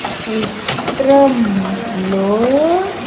చిత్రం లో.